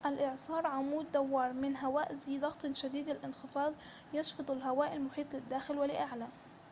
الإعصار عمود دوار من هواء ذي ضغط شديد الانخفاض يشفط الهواء المحيط للداخل ولأعلى